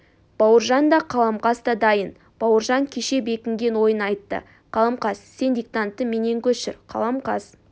бауыржан да қаламқас та дайын бауыржан кеше бекінген ойын айтты қаламқас сен диктантты менен көшір қаламқас